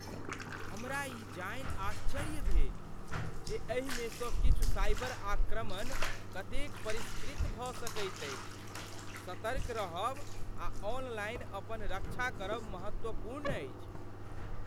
हमरा ई जानि आश्चर्य भेल जे एहिमेसँ किछु साइबर आक्रमण कतेक परिष्कृत भऽ सकैत अछि। सतर्क रहब आ ऑनलाइन अपन रक्षा करब महत्वपूर्ण अछि।